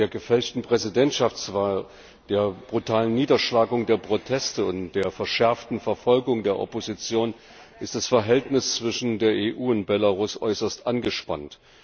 Seit der gefälschten Präsidentschaftswahl, der brutalen Niederschlagung der Proteste und der verschärften Verfolgung der Opposition ist das Verhältnis zwischen der EU und Belarus äußerst angespannt.